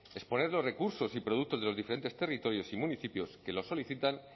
exponer los recursos y productos de los diferentes territorios y municipios que lo solicitan